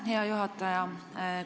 Aitäh, hea juhataja!